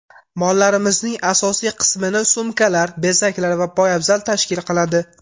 Mollarimizning asosiy qismini sumkalar, bezaklar va poyabzal tashkil qiladi.